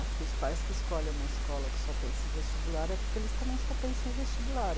Acho que os pais que escolhem uma escola que só pensa em vestibular é porque eles também só pensam em vestibular.